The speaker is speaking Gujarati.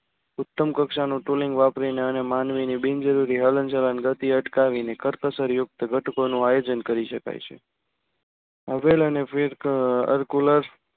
ઉત્તમ કક્ષાનું tooling વાપરીને અને માનવીની બિનજરૂરી હલનચલન ગતિ અટકાવીને કરકસર યુક્ત ઘટકોનું આયોજન કરી શકાય છે હવેલ અને air coller